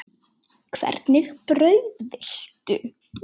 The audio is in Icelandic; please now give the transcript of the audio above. Hvernig brauð viltu?